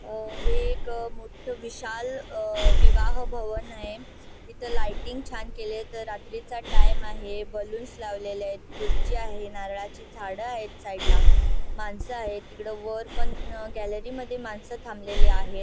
अ हे एक मोठं विशाल अ विवाह भवन आहे इथे लाइटिंग छान केलेत रात्रीचा टाइम आहे बलून्स लावलेले आहेत खुर्च्या आहेत नारळाची झाडे आहेत साइड ला माणसं आहेत तिकड वर पण गॅलरी मध्ये माणसं थांबलेली आहेत.